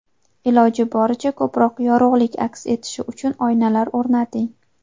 Iloji boricha ko‘proq yorug‘lik aks etishi uchun oynalar o‘rnating.